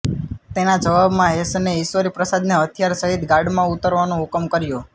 તેના જવાબમાં હેસને ઈશ્વરી પ્રસાદને હથિયાર સહિત ગાર્ડમાં ઉતરવાનો હુકમ કર્યો